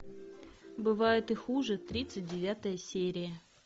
бывает и хуже тридцать девятая серия